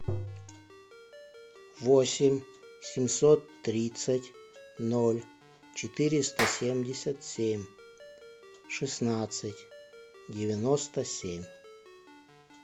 восемь семьсот тридцать ноль четыреста семьдесят семь шестнадцать девяносто семь